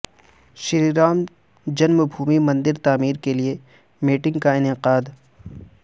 شری Ram Janmabhoomi Mandir تعمیر کے لئے میٹنگ کا انعقاد